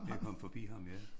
Med at komme forbi ham ja